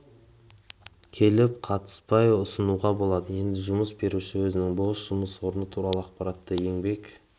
келіп қатынаспай ұсынуға болады енді жұмыс беруші өзінің бос жұмыс орны туралы ақпаратты электрондық еңбек